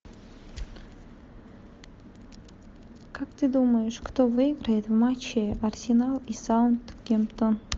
как ты думаешь кто выиграет в матче арсенал и саутгемптон